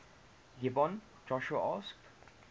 gibeon joshua asked